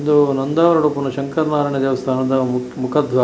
ಇದು ನಂದಾವರ್‌ಡ್‌ ಉಪ್ಪುನ ಶಂಕರ್‌ ನಾರಾಯಣ ದೇವಸ್ಥಾನದ ಮು ಮುಖದ್ವಾರ.